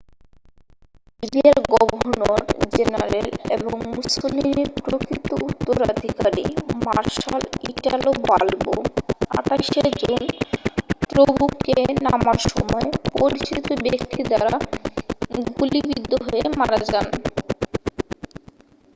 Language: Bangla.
লিবিয়ার গভর্নর-জেনারেল এবং মুসোলিনির প্রকৃত উত্তরাধিকারী মার্শাল ইটালো বাল্বো 28 শে জুন টব্রুকে নামার সময় পরিচিত ব্যক্তি দ্বারা গুলিবিদ্ধ হয়ে মারা যান